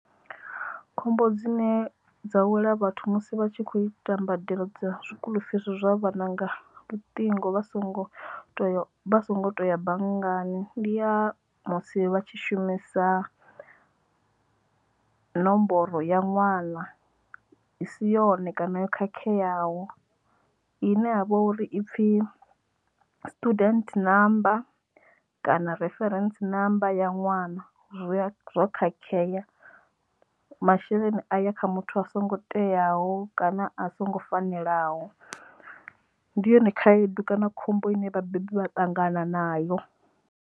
Khombo dzine dza wela vhathu musi vha tshi kho ita mbadelo dza zwikuḽu fisi zwa vhananga luṱingo vha songo vha songo to ya banngani ndi ya musi vha tshi shumisa nomboro ya ṅwana i si yone kana yo khakheaho ine ya vha uri ipfi student number kana referentsi namba ya ṅwana zwo zwo khakhea masheleni a ya kha muthu a songo teaho kana a songo fanelaho ndi yone khaedu kana khombo ine vha bebi vha ṱangana nayo.